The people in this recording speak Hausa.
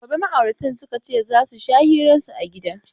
Gobe ma'auratan suka ce za su sha hiran su a gida.